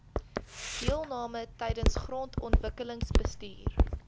deelname tydens grondontwikkelingsbestuur